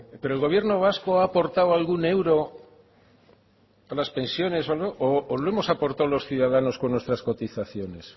pero el gobierno vasco ha aportado algún euro a las pensiones o lo hemos aportado los ciudadanos con nuestras cotizaciones